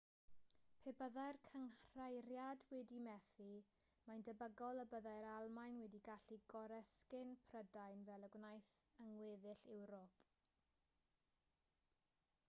pe byddai'r cynghreiriad wedi methu mae'n debygol y byddai'r almaen wedi gallu goresgyn prydain fel y gwnaeth yng ngweddill ewrop